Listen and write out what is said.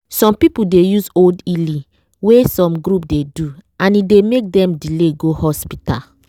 some people dey use old healing wey some group dey do and e dey make dem delay go hospital.